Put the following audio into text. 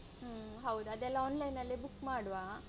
ಹೌದು ಅದೆಲ್ಲ online ಅಲ್ಲೇ book ಮಾಡುವ.